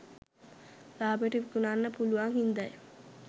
ලාබෙට විකුණන්න පුළුවන් හින්දයි